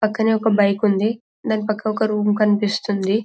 పక్కనే ఒక బైక్ ఉంది దాని పక్క ఒక రూమ్ కన్పిస్తుంది --